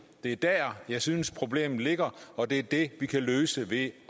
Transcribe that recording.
det er der jeg synes problemet ligger og det er det vi kan løse ved